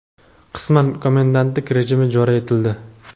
qisman komendantlik rejimi joriy etildi.